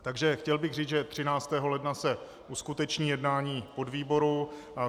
Takže chtěl bych říct, že 13. ledna se uskuteční jednání podvýboru.